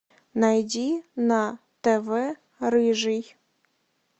найди на тв рыжий